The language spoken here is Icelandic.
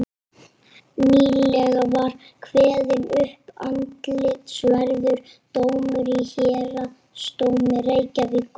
nýlega var kveðinn upp athyglisverður dómur í héraðsdómi reykjavíkur